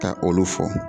Ka olu fɔ